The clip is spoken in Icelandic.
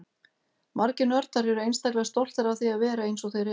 Margir nördar eru einstaklega stoltir af því að vera eins og þeir eru.